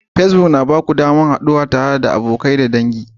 Facebook yana ba ku damar haɗuwa tare da abokai da dangi.